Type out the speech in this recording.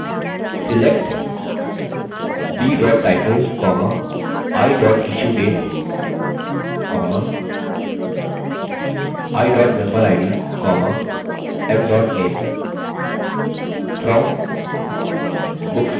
select b title i issuedate i memberid m name